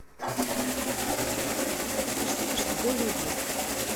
алиса позвони в консьерж сервис чтобы сделали уборку